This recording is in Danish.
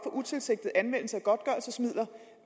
utilsigtet anvendelse